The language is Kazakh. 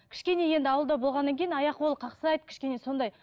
кішкене енді ауылда болғаннан кейін аяқ қолы қақсайды кішкене сондай